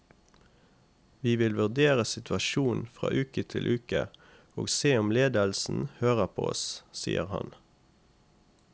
Vi vil vurdere situasjonen fra uke til uke og se om ledelsen hører på oss, sier han.